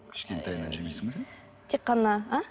кішкентайыңнан жемейсің бе сен тек қана а